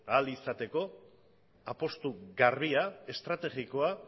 ahal izateko apustu garbia estrategikoa